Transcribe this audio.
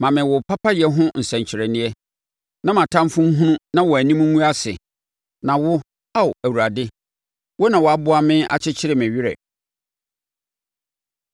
Ma me wo papayɛ ho nsɛnkyerɛnneɛ, na mʼatamfoɔ nhunu na wɔn anim ngu ase na wo Ao Awurade, wo na woaboa me akyekye me werɛ.